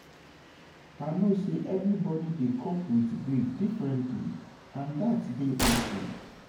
I know say everybody dey cope with with grief differently and dat dey okay.